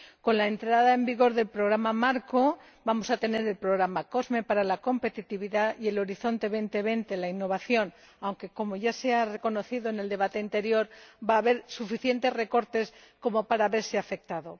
Con la entrada en vigor del Programa marco, vamos a tener el programa COSME para la competitividad y Horizonte 2020 para la innovación, aunque, como ya se ha reconocido en el debate anterior, va a haber suficientes recortes como para verse afectado.